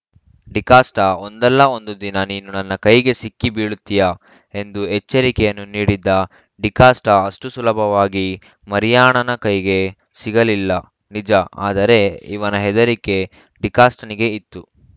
ಡಿಕಾಷ್ಟಒಂದಲ್ಲಾ ಒಂದುದಿನ ನೀನು ನನ್ನ ಕೈಗೆ ಸಿಕ್ಕಿ ಬೀಳತೀಯ ಎಂದು ಎಚ್ಚರಿಕೆಯನ್ನೂ ನೀಡಿದ್ದ ಡಿಕಾಷ್ಟಅಷ್ಟುಸುಲಭವಾಗಿ ಮರಿಯಾಣನ ಕೈಗೆ ಸಿಗಲಿಲ್ಲ ನಿಜ ಆದರೆ ಇವನ ಹೆದರಿಕೆ ಡಿಕಾಷ್ಟನಿಗೆ ಇತ್ತು